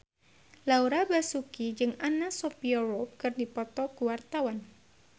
Laura Basuki jeung Anna Sophia Robb keur dipoto ku wartawan